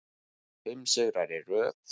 Fimm sigrar í röð